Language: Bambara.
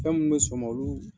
Fɛn min bɛ sɔn o ma olu